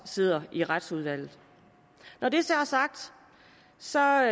sidder i retsudvalget når det så er